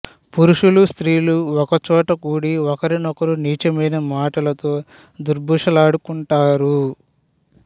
పురుషులు స్త్రీలు ఒకచోట కూడి ఒకరిని ఒకరు నీచమైన మాటలతో దుర్భాషలాడుకుంటారు